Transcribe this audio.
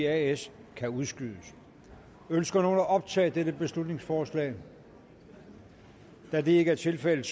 as kan udskydes ønsker nogen at optage dette beslutningsforslag da det ikke er tilfældet